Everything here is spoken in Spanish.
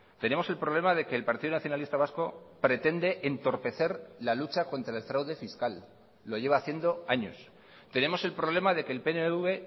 tenemos el problema de que el partido nacionalista vasco pretende entorpecer la lucha contra el fraude fiscal lo lleva haciendo años tenemos el problema de que el pnv